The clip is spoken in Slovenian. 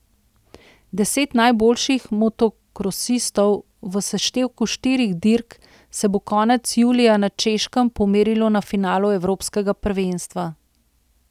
Deset najboljših motokrosistov v seštevku štirih dirk se bo konec julija na Češkem pomerilo na finalu evropskega prvenstva.